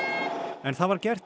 en það var gert í